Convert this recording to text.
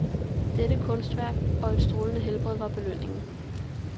Dette kunstværk og et strålende helbred var belønningen.